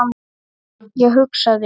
Ég hugsaði um